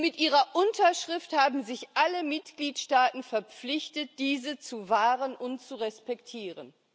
Und mit ihrer Unterschrift haben sich alle Mitgliedstaaten verpflichtet, diese zu wahren und zu respektieren.